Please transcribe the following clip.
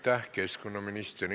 Aitäh, keskkonnaminister!